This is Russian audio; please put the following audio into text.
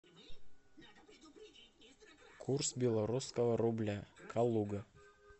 курс белорусского рубля калуга